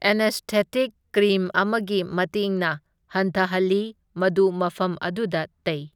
Anaesthetic cream ꯑꯃꯒꯤ ꯃꯇꯦꯡꯅ ꯍꯟꯊꯍꯜꯂꯤ, ꯃꯗꯨ ꯃꯐꯝ ꯑꯗꯨꯗ ꯇꯩ꯫